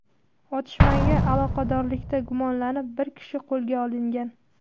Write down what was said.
Otishmaga aloqadorlikda gumonlanib, bir kishi qo‘lga olingan.